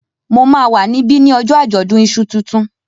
Mo máa wà níbí ní ojó àjọ̀dún iṣu tuntun